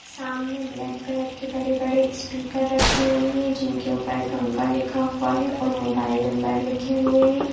सामने black colour के बड़े-बड़े स्पीकर रखे हुए हैं जिनके ऊपर गंगा लिखा हुआ है और मोबाइल नंबर लिखे हुए हैं।